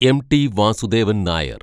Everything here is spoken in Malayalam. എം. ടി. വാസുദേവന്‍ നായര്‍